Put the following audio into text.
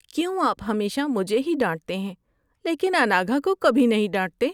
کیوں آپ ہمیشہ مجھے ہی ڈانٹتے ہیں لیکن اناگھا کو کبھی نہیں ڈانٹتے؟